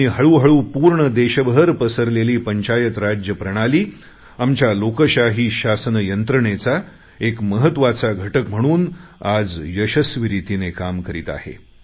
आणि हळूहळू पूर्ण देशभर पसरलेली पंचायत राज प्रणाली आमच्या लोकशाही शासन यंत्रणेचा एक महत्त्वाचा घटक म्हणून आज यशस्वी रितीने काम करीत आहे